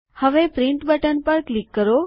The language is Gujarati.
હવે પ્રિન્ટ બટન પર ક્લિક કરો